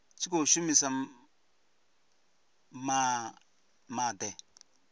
vha tshi khou shumisa maḽe